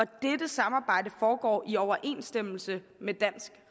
dette samarbejde foregår i overensstemmelse med dansk